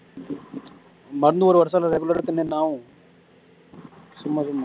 மருந்து ஒரு வருஷம் regular ஆ திண்ணா என்ன ஆகும் சும்மா சும்மா